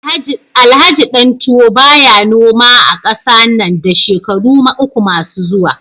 Alhaji Dantuwo baya noma a kasa nan da shekaru uku masu zuwa